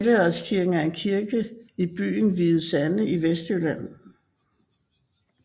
Helligåndskirken er en kirke i byen Hvide Sande i Vestjylland